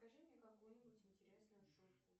скажи мне какую нибудь интересную шутку